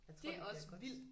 Jeg tror det bliver godt